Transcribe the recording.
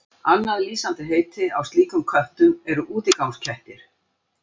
Annað lýsandi heiti á slíkum köttum eru útigangskettir.